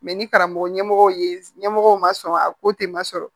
ni karamɔgɔ ɲɛmɔgɔ ye ɲɛmɔgɔ ma sɔn a ko ten ma sɔrɔ